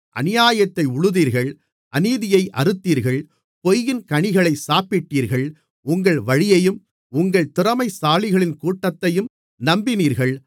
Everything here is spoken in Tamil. அநியாயத்தை உழுதீர்கள் அநீதியை அறுத்தீர்கள் பொய்யின் கனிகளைச் சாப்பிட்டீர்கள் உங்கள் வழியையும் உங்கள் திறமைசாலிகளின் கூட்டத்தையும் நம்பினீர்கள்